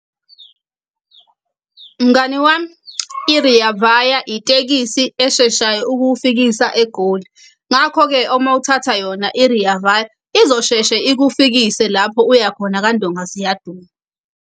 Mngani wami, i-Rea Vaya itekisi esheshayo ukufikisa egoli. Ngakho-ke uma uthatha yona i-Rea Vaya, izosheshe ikufikise lapho uyakhona kandonga ziyaduma.